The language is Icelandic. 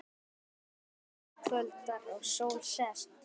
Uns kvöldar og sól sest.